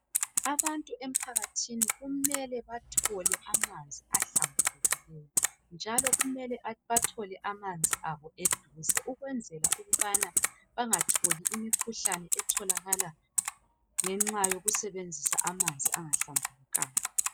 Abantu empakathini kumele bathole amanzi ahlambulukileyo ,njalo kumele bathole amanzi abo eduze ukwenzela ukubana bengatholi imkhuhlane etholakala ngenxa yokusebenzisa amanzi angahlambulukanga.